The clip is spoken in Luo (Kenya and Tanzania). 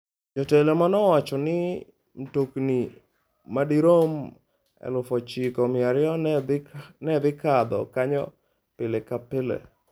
Jotelo ne owacho ni mtokni madirom 9,200 ne dhi kadho kanyo pile ka pile.